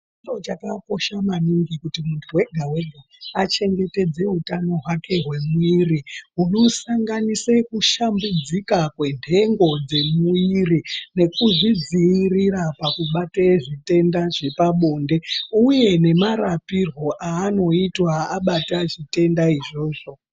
Chiro chakakosha maningi kuti muntu wega-wega, achengetedze hutano hwake hwemuiiri, hunosanganise kushambidzika kwentengo dzemuiiri nekuzvidziirira pakubate zvitenda zvepabonde ,uye nemarapirwo aanoitwa abata zvitenda izvozvo.